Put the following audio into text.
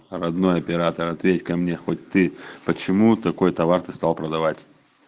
родной оператор ответь ка мне хоть ты почему такой товар ты стал продавать